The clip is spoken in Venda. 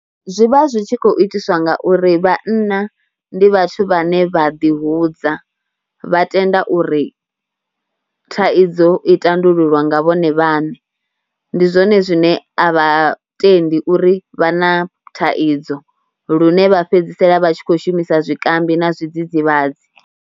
Zwi vha zwi tshi khou itiswa nga uri vhanna ndi vhathu vhane vha ḓihudza, vha tenda uri thaidzo i tandululwa nga vhone vhaṋe. Ndi zwone zwine a vha tendi uri vha na thaidzo, lune vha fhedzisela vha tshi kho shumisa zwikambi na zwidzidzivhadzi.